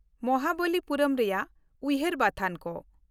ᱢᱚᱦᱟᱵᱚᱞᱤᱯᱩᱨᱚᱢ ᱨᱮᱭᱟᱜ ᱩᱭᱦᱟᱹᱨ ᱵᱟᱛᱷᱟᱱ ᱠᱚ